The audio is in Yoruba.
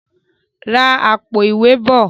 rà Àpò-ìwé bọ!